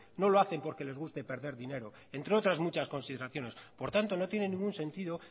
no lo hacen porque les guste perder dinero entre otras muchas consideraciones por tanto no tienen ningún sentido